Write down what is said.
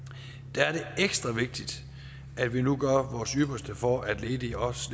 er det ekstra vigtigt at vi nu gør vores ypperste for at ledige også